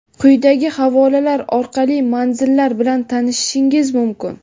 Quyidagi havolalar orqali manzillar bilan tanishishingiz mumkin:.